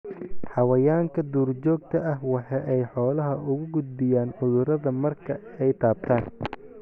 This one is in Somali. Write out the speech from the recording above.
Xayawaanka duurjoogta ah waxa ay xoolaha ugu gudbiyaan cudurrada marka ay taabtaan.